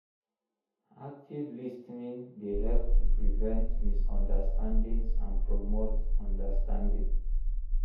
Active lis ten ing dey help to prevent misunderstandings and promote understanding.